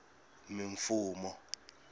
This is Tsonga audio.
mimfumo